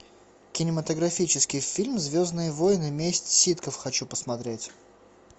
кинематографический фильм звездные войны месть ситхов хочу посмотреть